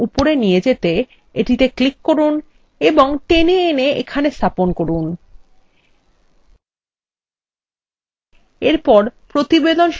এবার এটিকে একদম উপরে নিয়ে যেতে এটিতে ক্লিক করুন এবং টেনে এনে এখানে স্থাপন করুন